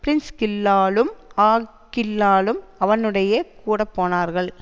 பிரிஸ்கில்லாளும் ஆக்கில்லாவும் அவனுடயே கூட போனார்கள்